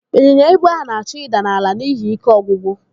Ịnyinya ibu ahụ na-achọ ịda n'ala n'ihi ike ọgwụgwụ.